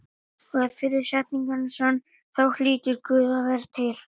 Og ef fyrri setningin er sönn þá hlýtur Guð að vera til.